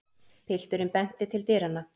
Pilturinn benti til dyranna.